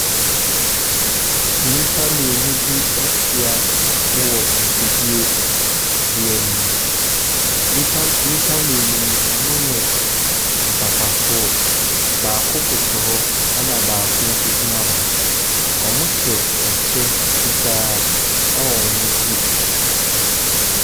Nnipa mmienu bi ahyiam wɔ ɛ mfidie bi anim. Nnipa nnipa mmienu no, wɔyɛ mpapafoɔ. Baako koto hɔ ɛna baako nso gyina hɔ. Wɔhyɛ ɛkyɛ fitaa ɛwɔ wɔn ti.